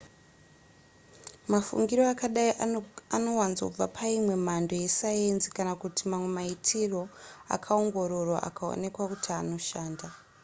mafungiro akadai anowanzobva paimwe mhando yesayenzi kana kuti mamwe maitiro akaongororwa akaonekwa kuti anoshanda